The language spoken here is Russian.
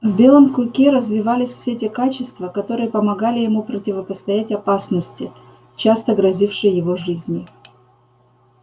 в белом клыке развивались все те качества которые помогали ему противостоять опасности часто грозившей его жизни